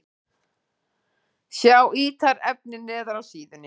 Sjá ítarefni neðar á síðunni